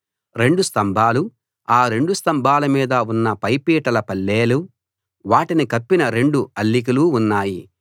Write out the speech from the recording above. రెండు స్తంభాలు ఆ రెండు స్తంభాల మీద ఉన్న పైపీటల పళ్ళేలు వాటిని కప్పిన రెండు అల్లికలు ఉన్నాయి